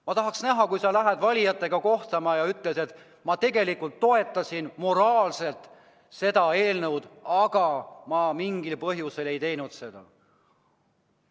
Ma tahaks näha, kuidas sa lähed valijatega kohtuma ja ütled, et ma tegelikult moraalselt toetasin seda eelnõu, aga teatud põhjusel ei hääletanud poolt.